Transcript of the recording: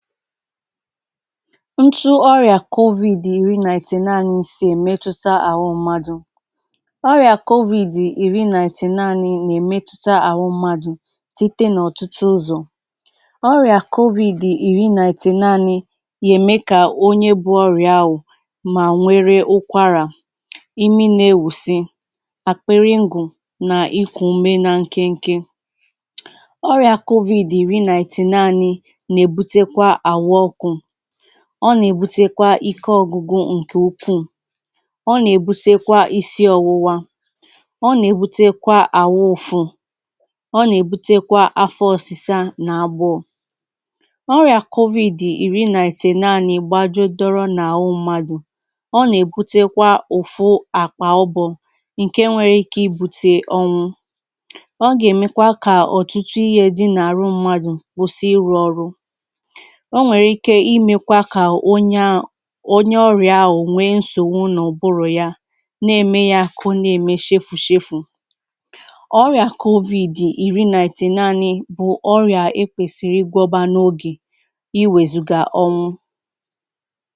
Ntu ọrịa covid ìrì na ị̀tẹ̀ nà-ànị̇ ísì èmetụta ahụ mmadụ. Ọrịa covid ìrì na ị̀tẹ̀ nà-ànị̇ na-èmetụta ahụ mmadụ site n’ọ̀tụ̀tụ̀ ụzọ̀. Ọrịa covid ìrì na ị̀tẹ̀ nà-àṅị̇ yèmè ka onye bụ ọrịa bụ ahụ ma nwere ụ́kwarà ìmí na-èwúsi, àkpịrị ngụ na íkù ùmé nà nkènkè. Ọrịa covid ìrì na ị̀tẹ̀ nà-ànị̇ nà èbùkwa ahụ ọ́kụ, ọ nà-èbùtèkwa ìké ọ̇gwugwụ̇ ǹkè ùkwùù, ọ nà-èbùtèkwa ìsí ọ̇wụ̇wȧ, ọ nà-èbùtèkwa àhụ ụ̀fụ, ọ nà-èbùtèkwa àfọ̇ ọ̇sị̇sȧ nà àgbọọ. Ọ̀rị̀a covid ìrì na ị̀tẹ̀ nà-ànị̇ gbàjùọ dọrọ n’ahụ mmadụ̀; ọ nà-èbùtèkwa ụ̀fụ àkpà ụbọ̇ ǹkè nwere íkè ìbù̇tè ọnwụ̇. Ọ gà-èmekwà kà ọ̀tụ̀tụ̀ ihe dị n’àrụ mmadụ̀ kwụsị ịrụ̇ ọrụ. Ọ nwèrè íkè ìmèkwà ka onye onye ọrịa ahụ nwere nsọ̀nso nà ùbụrụ ya, nà-èmè ya ka ọ na-èmè chéfù-chéfù. Ọrịa covid ìrì na ị̀tẹ̀ nà-ànị̇ bụ ọ̀rịa è kwèsìrì ìgwọ n’ógè ìwézùgà ọnwụ̇.